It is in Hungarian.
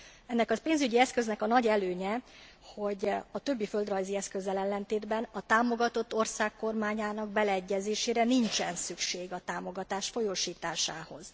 Ennek a pénzügyi eszköznek a nagy előnye a többi földrajzi eszközzel ellentétben, hogy a támogatott ország kormányának beleegyezésére nincsen szükség a támogatás folyósításához.